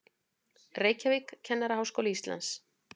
Reykjavík, Kennaraháskóli Íslands.